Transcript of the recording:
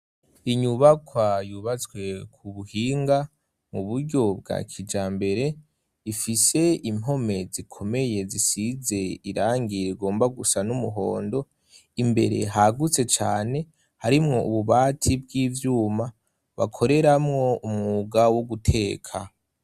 inyubakwa yubatswe ku buhinga mu buryo bwa kijambere ifise impome zikomeye zisize irangi rigomba gusa n'umuhondo imbere hagutse cane harimwo ububati bw'ivyuma bakoreramwo umwuga wo guteka